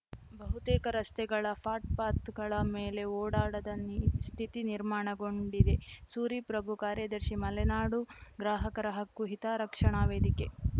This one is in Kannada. ಬಹುತೇಕ ರಸ್ತೆಗಳ ಪಾಟ್‌ ಪಾತ್‌ಗಳ ಮೇಲೆ ಓಡಾಡದ ನಿ ಸ್ಥಿತಿ ನಿರ್ಮಾಣಗೊಂಡಿದೆ ಸೂರಿ ಪ್ರಭು ಕಾರ್ಯದರ್ಶಿ ಮಲೆನಾಡು ಗ್ರಾಹಕರ ಹಕ್ಕು ಹಿತರಕ್ಷಣಾ ವೇದಿಕೆ